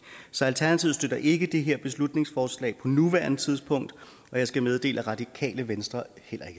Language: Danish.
så alternativet støtter ikke det her beslutningsforslag på nuværende tidspunkt og jeg skal meddele at radikale venstre